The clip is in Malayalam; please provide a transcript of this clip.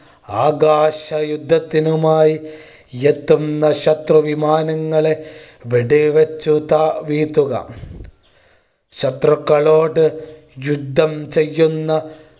ആകാശ യുദ്ധത്തിനുമായി എത്തുന്ന ശത്രു വിമാനങ്ങളെ വെടിവെച്ചു താ വീഴ്ത്തുക ശത്രുക്കളോട് യുദ്ധം ചെയ്യുന്ന